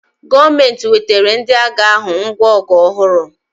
Gọọmenti wetara ndị agha ahụ ngwa ọgụ ọhụrụ